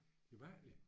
Det mærkeligt